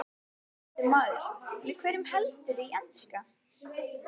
Ónefndur maður: Með hverjum heldurðu í enska?